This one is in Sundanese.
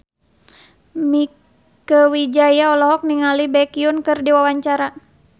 Mieke Wijaya olohok ningali Baekhyun keur diwawancara